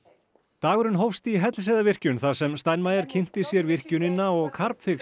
dagurinn hófst í Hellisheiðarvirkjun þar sem Steinmeier kynnti sér virkjunina og